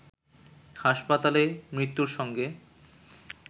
হাসপাতালে মৃত্যুর সঙ্গে